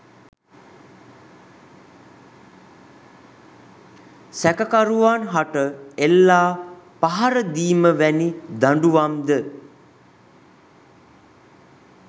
සැකකරුවන් හට එල්ලා පහරදීම වැනි දඬුවම්ද